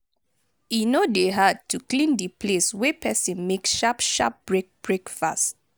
e no dey hard to clean di place wey person make sharp sharp break break fast